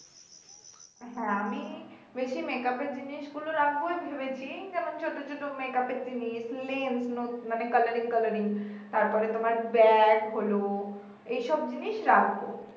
হ্যা আমি বেশি make up এর জিনিস গুলো রাখব ভেবেছি যেমন ছোট ছোট make up এর জিনিস মানে colouring colouring তারপরে তোমার ব্যাগ হলো এসব জিনিস রাখবো